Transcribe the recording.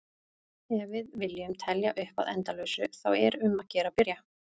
Ef við viljum telja upp að endalausu þá er um að gera að byrja!